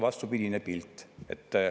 Vastupidine pilt.